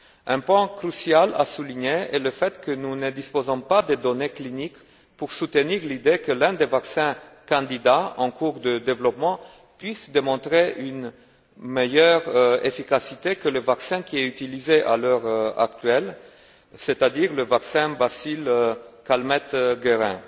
Un point crucial à souligner est le fait que nous ne disposons pas des données cliniques pour soutenir l'idée que l'un des vaccins candidats en cours de développement puisse démontrer une meilleure efficacité que le vaccin qui est utilisé à l'heure actuelle, c'est à dire le vaccin Bacille Calmette Guérin.